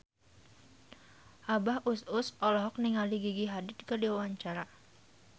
Abah Us Us olohok ningali Gigi Hadid keur diwawancara